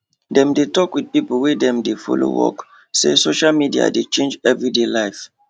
dem dey talk wit pipo wey dem de follow work say social media dey change everyday life